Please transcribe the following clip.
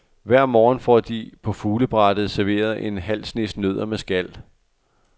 Hver morgen får de på fuglebrættet serveret en halv snes nødder med skal.